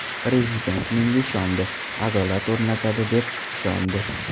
Prezident menga ishondi, adolat o‘rnatadi, deb ishondi.